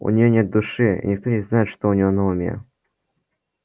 у неё нет души и никто не знает что у неё на уме